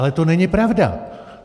Ale to není pravda!